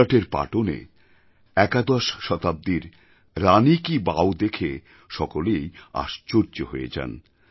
গুজরাতের পাটনে একাদশ শতাব্দীর রানী কি বাও দেখে সকলেই আশ্চর্য হয়ে যান